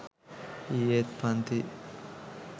ඊයෙත් පන්ති